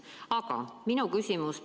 Aga minu küsimus.